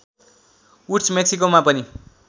woods मेक्सिकोमा पनि